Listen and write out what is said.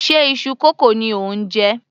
Ṣe iṣu kókò ni ò ń jẹ?